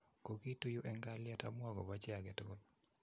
Kokiitu yu eng' kalyet amu akopa chi age tugul